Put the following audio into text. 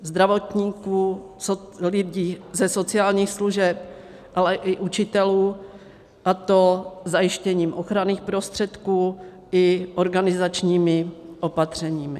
Zdravotníků, lidí ze sociálních služeb, ale i učitelů, a to zajištěním ochranných prostředků i organizačními opatřeními.